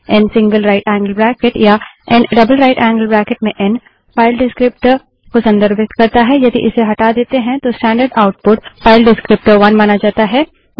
N single right angled bracket या n double right angled bracket में n file descriptor को संदर्भित करता है यदि इसे हटा देते है तो स्टैंडर्ड आउटपुट फाइल डिस्क्रीप्टर1 माना जाता है